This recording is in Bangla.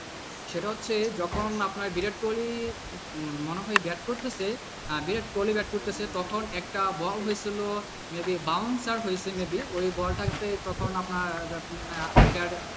সেটা হচ্ছে যখন আপনার বিরাট কোহলি মনেহয় ব্যাট করতেছে, বিরাট কোহলির ব্যাট করতেছে তখন একটা ওয়াহব এর জন্য may be bouncer হয়েছে may be ওই bowl টা তে তখন আপনার আম্পায়ারের,